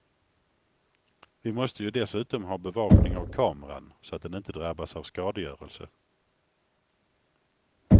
Vi måste ju dessutom ha bevakning av kameran, så att den inte drabbas av skadegörelse.